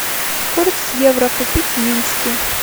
курс евро купить в минске